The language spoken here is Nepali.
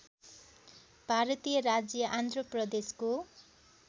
भारतीय राज्य आन्ध्र प्रदेशको